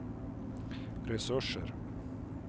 resurser